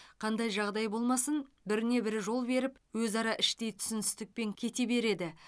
қандай жағдай болмасын біріне бірі жол беріп өзара іштей түсіністікпен кете береді